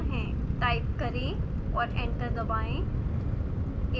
type करें और enter दबाएं